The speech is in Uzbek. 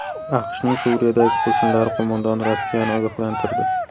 AQShning Suriyadagi qo‘shinlari qo‘mondoni Rossiyani ogohlantirdi.